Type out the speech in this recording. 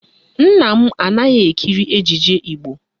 Nna m anaghị ekiri ejije Igbo